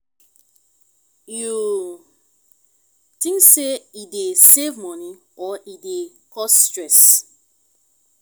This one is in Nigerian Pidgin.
you think say e dey save money or e dey cause stress?